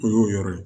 O y'o yɔrɔ ye